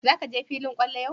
Za ka je filin kwallo yau?